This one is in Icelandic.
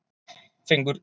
Fengur